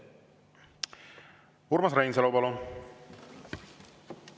Urmas Reinsalu, palun!